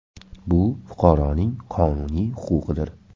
Bu fuqaroning qonuniy huquqidir.